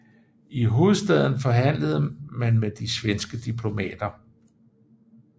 I hovedstaden forhandlede man med de svenske diplomater